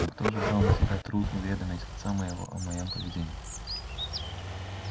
но кто же брал на себя труд уведомить отца моего о моём поведении